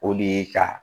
O de ye ka